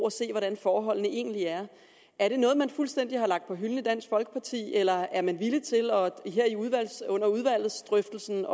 at se hvordan forholdene egentlig er er det noget man fuldstændig har lagt på hylden i dansk folkeparti eller er man her under udvalgsdrøftelsen